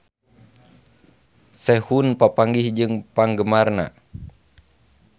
Sehun papanggih jeung penggemarna